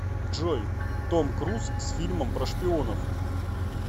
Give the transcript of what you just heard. джой том круз с фильмом про шпионов